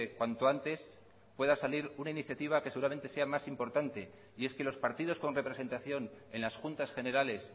cuanto antes pueda salir una iniciativa que seguramente sea más importante y es que los partidos con representación en las juntas generales